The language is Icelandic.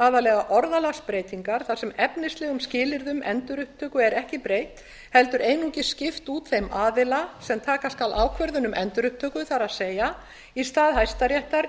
aðallega orðalagsbreytingar þar sem efnislegum skilyrðum endurupptöku er ekki breytt heldur einungis skipt út þeim aðila sem taka skal ákvörðun um endurupptöku það er í stað hæstaréttar